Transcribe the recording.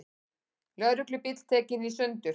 Lögreglubíll tekinn í sundur